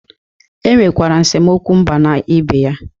Enwerekwara esemokwu mba na ibe ya